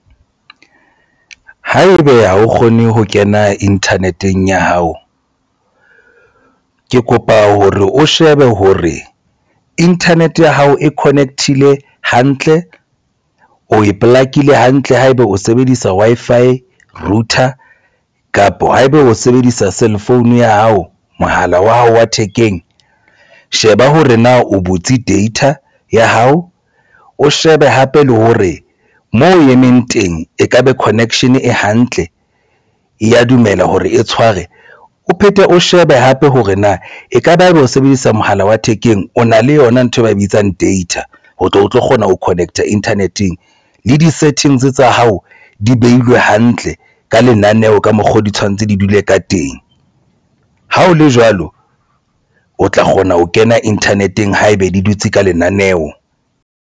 Haebe ha o kgone ho kena internet-eng ya hao ke kopa hore o shebe hore internet ya hao e connect-ile hantle o e polakile hantle ha eba o sebedisa Wi-Fi router kapa haeba o sebedisa cell phone ya hao mohala wa hao wa thekeng sheba hore na o butse data ya hao, o shebe hape le hore moo o emeng teng ekaba connection e hantle e ya dumela hore e tshware o phethe, o shebe hape hore na ekaba ebe o sebedisa mohala wa thekeng o na le yona ntho e ba e bitsang data. O tlo kgona ho connect-a internet-eng le di-settings tsa hao di behilwe hantle ka lenaneo ka mokgo di tshwanetse di dule ka teng, ha o le jwalo o tla kgona ho kena internet-eng haebe di dutse ka lenaneo.